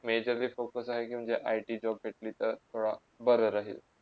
major ते focus की म्हणजे ITjob भेटली तर थोडा बरा राहिल.